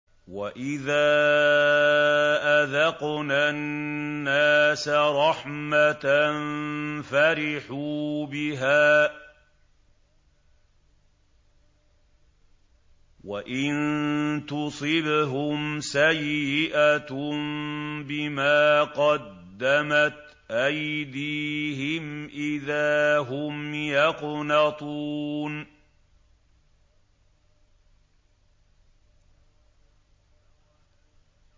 وَإِذَا أَذَقْنَا النَّاسَ رَحْمَةً فَرِحُوا بِهَا ۖ وَإِن تُصِبْهُمْ سَيِّئَةٌ بِمَا قَدَّمَتْ أَيْدِيهِمْ إِذَا هُمْ يَقْنَطُونَ